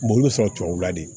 i bɛ sɔrɔ tubabula de